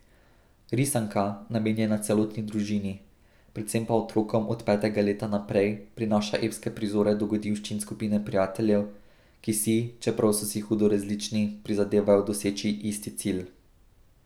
Risanka, namenjena celotni družini, predvsem pa otrokom od petega leta naprej, prinaša epske prizore dogodivščin skupine prijateljev, ki si, čeprav so si hudo različni, prizadevajo doseči isti cilj.